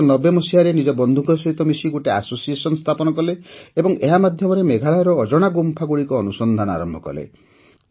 ୧୯୯୦ ମସିହାରେ ନିଜ ବନ୍ଧୁଙ୍କ ସହିତ ମିଶି ଗୋଟିଏ ଆସୋସିଏସନ ସ୍ଥାପନା କଲେ ଏବଂ ଏହା ମାଧ୍ୟମରେ ମେଘାଳୟର ଅଜଣା ଗୁମ୍ଫାଗୁଡ଼ିକର ଅନୁସନ୍ଧାନ ଆରମ୍ଭ କଲେ